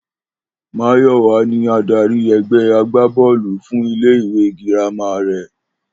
Máyò̩wá ni adarí e̩gbe̩ agbábó̩ò̩lù fún ilé ìwé girama rè̩